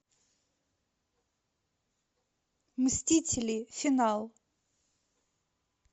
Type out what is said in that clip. мстители финал